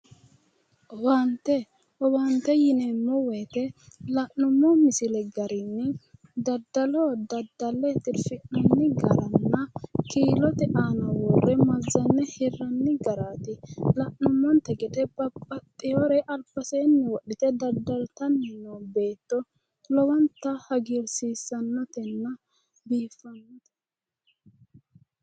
Owaante. Owaante yineemmo woyite la'nummo misile garinni daddalo daddalle tirfi'nanni garanna kiilote aana worre mazzanne hirranni garaati. La'nummonte gede babbaxxiwore albaseenni wodhite daddaltanni noo beetto lowonta hagiirsiissannotenna biiffannote.